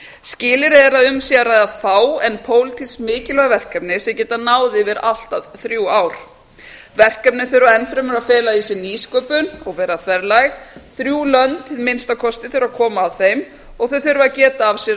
skilyrði er að um sé að ræða fá en pólitísk mikilvæg verkefni sem geta náð yfir allt að þrjú ár verkefnin þurfa enn fremur að fela í sér nýsköpun og vera þverlæg þrjú lönd að minnsta kosti þurfa að koma að þeim og þau þurfa að geta af sér